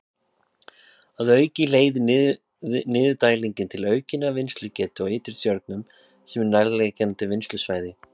Að auki leiðir niðurdælingin til aukinnar vinnslugetu á Ytri-Tjörnum sem er nærliggjandi vinnslusvæði.